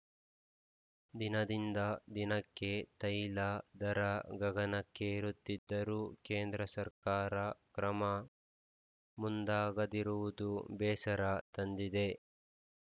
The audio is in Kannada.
ದಿನದಿಂದ ದಿನಕ್ಕೆ ತೈಲ ದರ ಗಗನಕ್ಕೇರುತ್ತಿದ್ದರೂ ಕೇಂದ್ರ ಸರ್ಕಾರ ಕ್ರಮ ಮುಂದಾಗದಿರುವುದು ಬೇಸರ ತಂದಿದೆ